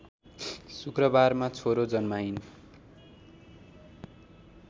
शुक्रबारमा छोरा जन्माइन्